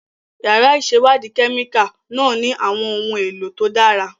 Yàrá ìṣèwádìí kẹ́míkà náà ní àwọn ohun èlò tó dára.